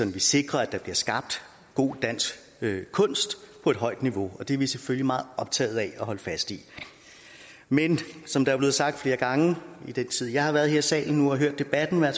vi sikrer at der bliver skabt god dansk kunst på et højt niveau og det er vi selvfølgelig meget optaget af at holde fast i men som der er blevet sagt flere gange i den tid jeg har været her i salen nu og hørt debatten er